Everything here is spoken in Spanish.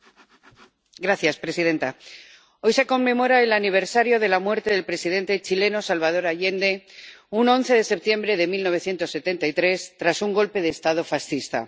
Señora presidenta, hoy se conmemora el aniversario de la muerte del presidente chileno Salvador Allende un 11 de septiembre de 1973, tras un golpe de Estado fascista.